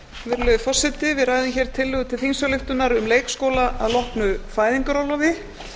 virðulegi forseti við ræðum hér tillögu til þingsályktunar um leikskóla að loknu fæðingarorlofi